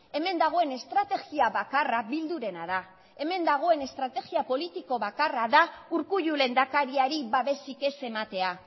hemen dagoen estrategia bakarra bildurena da hemen dagoen estrategia politiko bakarra da urkullu lehendakariari babesik ez ematea